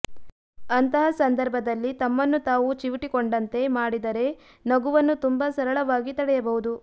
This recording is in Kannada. ಅಂತಹ ಸಂದರ್ಭದಲ್ಲಿ ತಮ್ಮನ್ನು ತಾವು ಚಿವುಟಿಕೊಂಡಂತೆ ಮಾಡಿದರೆ ನಗುವನ್ನು ತುಂಬಾ ಸರಳವಾಗಿ ತಡೆಯಬಹುದು